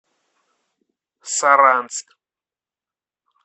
саранск